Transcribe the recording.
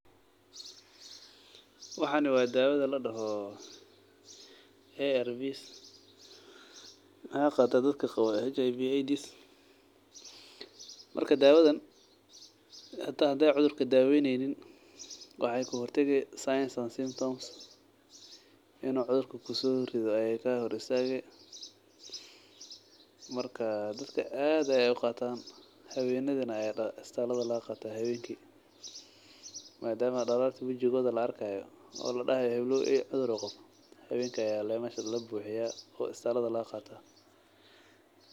Waxani waa dawadha ladaho hair rivets waxaa qataa dadka daha HIV AIDS marka dawadan hata hade cudhrka daweynynin waxee kahortagi sense and symptoms in u cudhrka kuso ridho ayey ka hor istage marka dadka aad ayey u qatan hawenadha aya istalka laga qata madama dararti wajigoda la arkayo oo ladahayo heblow cudhur ayu qawa hawenki aya mesha labuxiya oo isbitalada laga qata.